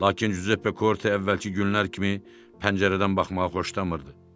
Lakin Cüzeppe Korte əvvəlki günlər kimi pəncərədən baxmağı xoşlamırdı.